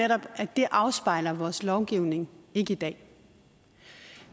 netop at det afspejler vores lovgivning ikke i dag